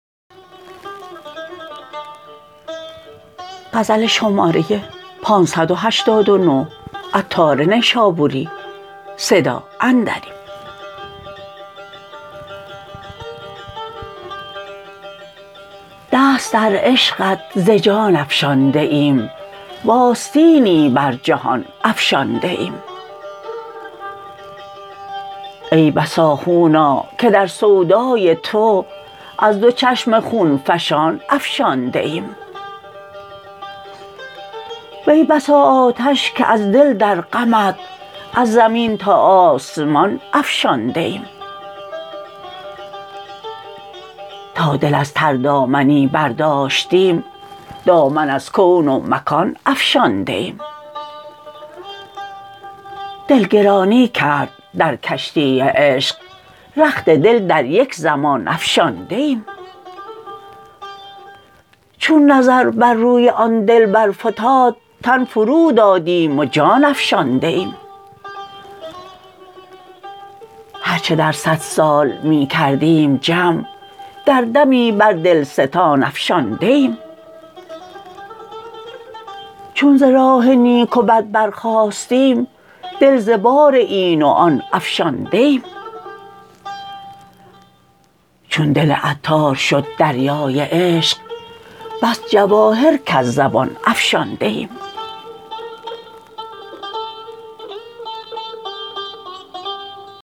دست در عشقت ز جان افشانده ایم و آستینی بر جهان افشانده ایم ای بسا خونا که در سودای تو از دو چشم خون فشان افشانده ایم وی بسا آتش که از دل در غمت از زمین تا آسمان افشانده ایم تا دل از تر دامنی برداشتیم دامن از کون و مکان افشانده ایم دل گرانی کرد در کشتی عشق رخت دل در یک زمان افشانده ایم چون نظر بر روی آن دلبر فتاد تن فرو دادیم و جان افشانده ایم هرچه در صد سال می کردیم جمع در دمی بر دلستان افشانده ایم چون ز راه نیک و بد برخاستیم دل ز بار این و آن افشانده ایم چون دل عطار شد دریای عشق بس جواهر کز زبان افشانده ایم